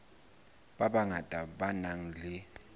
ba bangata ba nang le